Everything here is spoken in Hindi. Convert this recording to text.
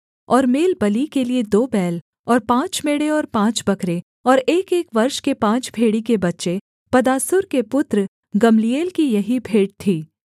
और मेलबलि के लिये दो बैल और पाँच मेढ़े और पाँच बकरे और एकएक वर्ष के पाँच भेड़ी के बच्चे पदासूर के पुत्र गम्लीएल की यही भेंट थी